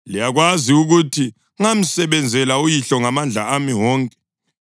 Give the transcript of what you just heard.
Liyakwazi ukuthi ngamsebenzela uyihlo ngamandla ami wonke,